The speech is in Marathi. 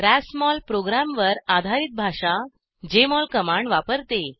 रासमोल प्रोग्रामवर आधारित भाषा जेएमओल कमांड वापरते